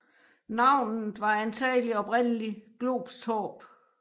Navnet var antagelig oprindelig Globs torp